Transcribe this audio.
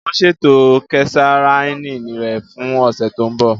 Wọn ṣeto kesareani rẹ fun ọsẹ to nbo.